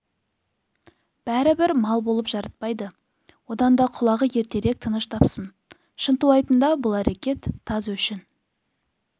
бәрі бір мал болып жарытпайды одан да құлағы ертерек тыныш тапсын шынтуайтында бұл әрекет таз өшін